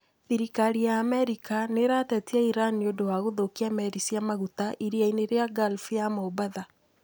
Thirikari ya Amerika nĩĩratetia Iran nĩ ũndũ wa kũthũkia meri cia maguta iria-inĩ rĩa Gulf ya Mombatha